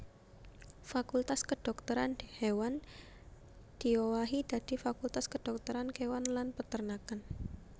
Fakultas Kedhokteran Kéwan diowahi dadi Fakultas Kedhokteran Kéwan lan Peternakan